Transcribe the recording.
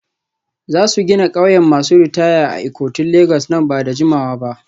Za su gina ƙauyen masu ritaya a Ikotun Legas nan ba da jimawa ba.